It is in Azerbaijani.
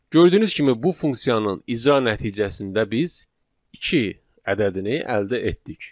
Gördüyünüz kimi, bu funksiyanın icra nəticəsində biz iki ədədini əldə etdik.